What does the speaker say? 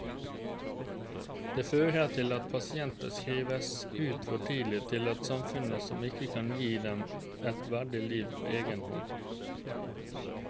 Det fører til at pasienter skrives ut for tidlig til et samfunn som ikke kan gi dem et verdig liv på egen hånd.